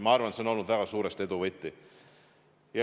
Ma arvan, et see on olnud väga suuresti edu võti.